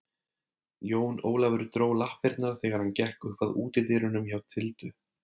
Jón Ólafur dró lappirnar þegar hann gekk upp að útidyrunum hjá Tildu.